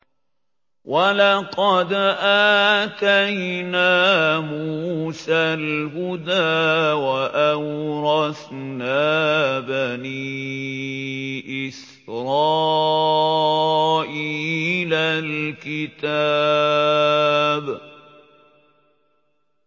وَلَقَدْ آتَيْنَا مُوسَى الْهُدَىٰ وَأَوْرَثْنَا بَنِي إِسْرَائِيلَ الْكِتَابَ